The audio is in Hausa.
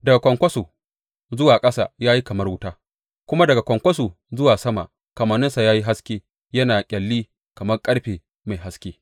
Daga kwankwaso zuwa ƙasa ya yi kamar wuta, kuma daga kwankwaso zuwa sama kamanninsa ya yi haske yana ƙyalli kamar ƙarfe mai haske.